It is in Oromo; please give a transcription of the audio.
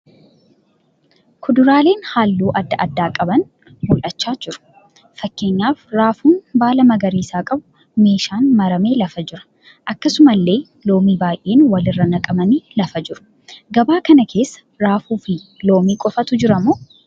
Kuduraaleen halluu adda addaa qaban mul'achaa jiru. Fakkeenyaaf raafuun baala magariisa qabu meeshaan maramee lafa jira, akkasumallee loomii baay'een walirra naqamanii lafa jiru. Gabaa kana keessa raafuu fi loomii qofaatu jiramoo?